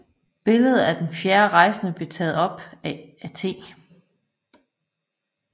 Billedet af den fjerde rejsende blev taget op af T